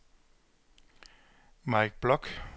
Mike Bloch